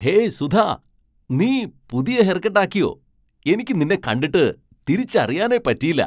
Hey Sudha ,നീ പുതിയ haircut ആക്കിയോ ! എനിക്ക് നിന്നെ കണ്ടിട്ട് തിരിച്ചറിയാനേ പറ്റിയില്ല !